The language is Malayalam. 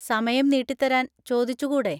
സമയം നീട്ടിത്തരാൻ ചോദിച്ചുകൂടെ?